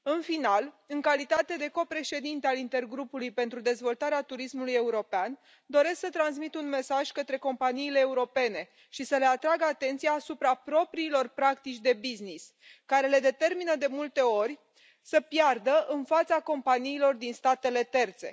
În final, în calitate de copreședinte al Intergrupului pentru Dezvoltarea Turismului European, doresc să transmit un mesaj către companiile europene și să le atrag atenția asupra propriilor practici de business care le determină de multe ori să piardă în fața companiilor din statele terțe.